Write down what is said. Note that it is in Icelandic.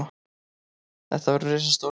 Þetta verður risastórt.